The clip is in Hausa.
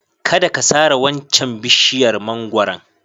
Kada ka sare waccan bishiyar mangwaron.